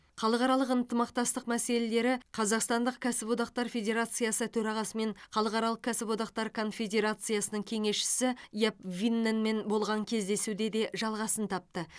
халықаралық ынтымақтастық мәселелері қазақстандық кәсіподақтар федерациясы төрағасы мен халықаралық кәсіподақтар конфедерациясының кеңесшісі яп винненмен болған кездесуде де жалғасын тапты